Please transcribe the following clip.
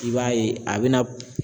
I b'a ye a bɛna